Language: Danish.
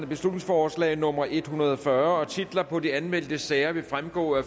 beslutningsforslag nummer en hundrede og fyrre af titler på de anmeldte sager vil fremgå af